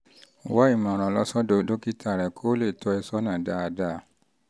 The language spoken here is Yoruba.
wá ìmọ̀ràn lọ sọ́dọ̀ dókítà rẹ kó lè tọ́ ẹ́ sọ́nà dáadáa